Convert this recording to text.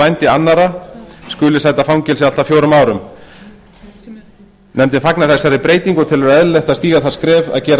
vændi annarra skuli sæta fangelsi allt að fjórum árum nefndin fagnar þessari breytingu og telur eðlilegt að stíga það skref